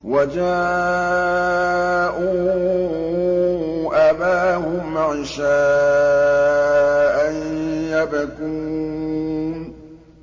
وَجَاءُوا أَبَاهُمْ عِشَاءً يَبْكُونَ